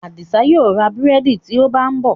Adisa yíò rá búrẹ́dì tí ó bá nbó.